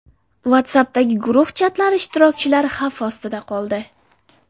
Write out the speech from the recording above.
WhatsApp’dagi guruh chatlari ishtirokchilari xavf ostida qoldi.